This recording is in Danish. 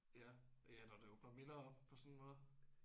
Ja ja når det åbner minder op på sådan en måde